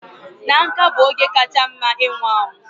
Na nká bụ oge kacha mma ịnwụ anwụ